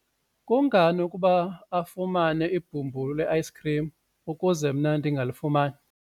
kungani ukuba afumane ibhumbulu le-ayisikhrim ukuze mna ndingalifumani?